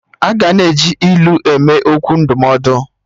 Aga na-eji ilu eme okwu ndụmọdụ